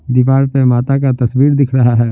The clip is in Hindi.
दीवार पे माता का तस्वीर दिख रहा है।